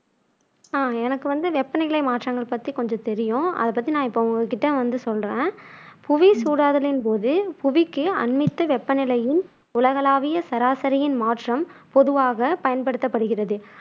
எனக்கு வந்து வெப்பநிலை மாற்றங்கள் பத்தி கொஞ்சம் தெரியும் அதை பத்தி நான் இப்போ உங்ககிட்ட வந்து சொல்றேன் புவி சூடாதலின் போது புவிக்கு அண்மித்த வெப்பநிலையின் உலகலாவிய சராசரியின் மாற்றம் பொதுவாகப் பயன்படுத்தப்படுகிறது.